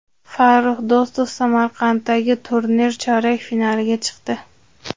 Farrux Do‘stov Samarqanddagi turnir chorak finaliga chiqdi.